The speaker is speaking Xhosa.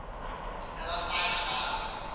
aba bafana balwa